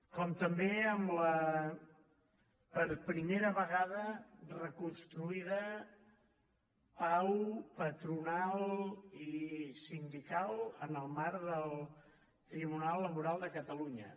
com també amb la per primera vegada reconstruïda pau patronal i sindical en el marc del tribunal laboral de catalunya